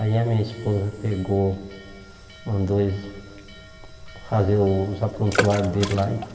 Aí a minha esposa pegou, mandou eles fazerem os aprontuários dele lá e.